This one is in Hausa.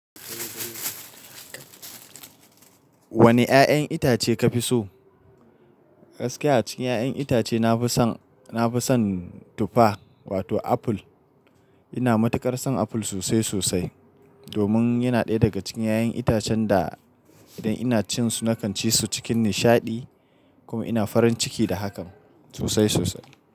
Wane 'ya'yan itace ka fi so? Gaskiya cikin 'ya'yan itace na fi son, na fi son tufa wato apple. Ina matuƙar son apple sosai sosai domin yana ɗaya daga cikin 'ya'yan itacen da idan ina cin su na kan ci su cikin nishaɗi. Kuma ina farin ciki da hakan sosai sosai.